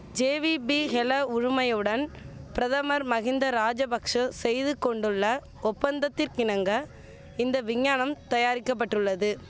JVP Hela உறுமயவுடன் பிரதமர் மகிந்த ராஜபக்ஷ செய்து கொண்டுள்ள ஒப்பந்தத்திற்கிணங்க இந்த விஞ்ஞானம் தயாரிக்கப்பட்டுள்ளது